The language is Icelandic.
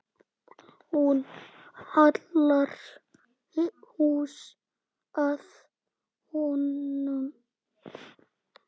Hún hallar sér að honum.